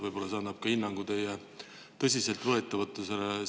Võib-olla annab see ka hinnangu teie eelnõu tõsiseltvõetavusele.